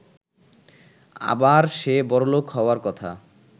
আবার সে বড়লোক হওয়ার কথা।